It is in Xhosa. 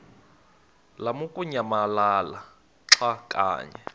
lamukunyamalala xa kanye